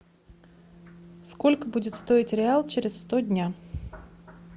сколько будет стоить реал через сто дня